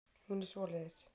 Hún er svoleiðis.